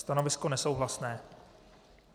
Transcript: Stanovisko nesouhlasné.